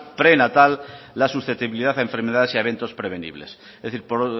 prenatal la susceptibilidad a enfermedades y a eventos prevenibles es decir por